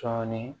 Cɔnni